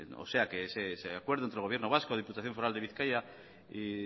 o sea ese acuerdo entre el gobierno vasco diputación foral de bizkaia y